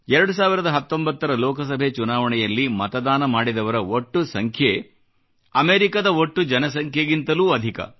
2019 ರ ಲೋಕಸಭೆ ಚುನಾವಣೆಯಲ್ಲಿ ಮತದಾನ ಮಾಡಿದವರ ಒಟ್ಟು ಸಂಖ್ಯೆ ಅಮೇರಿಕದ ಒಟ್ಟು ಜನಸಂಖ್ಯೆಗಿಂತಲೂ ಅಧಿಕ